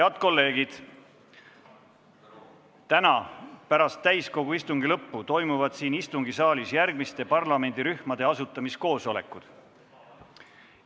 Head kolleegid, täna pärast täiskogu istungi lõppu toimuvad siin istungisaalis järgmiste parlamendirühmade asutamiskoosolekud.